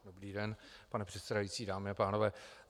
Dobrý den, pane předsedající, dámy a pánové.